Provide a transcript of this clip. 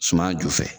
Suman ju fɛ